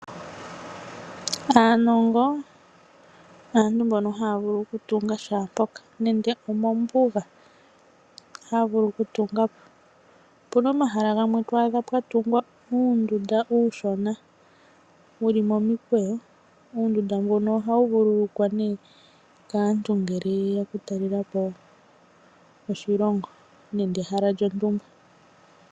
Aanongo aantu mbono haya vulu okutunga shaa mpoka nande omombuga ohaya vulu okutunga po. Opuna omahala gamwe twaadha pwatungwa uundunda uushona wuli momikweyo, uundunda mbuno ohawu vululukwa nee kaantu ngele yeya oku talelapo oshilongo nenge ehala lyontumba.